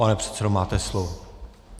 Pane předsedo, máte slovo.